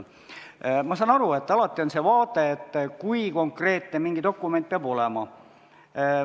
Ma saan aru, et alati tekib see vaade, et kui konkreetne mingi dokument peab olema.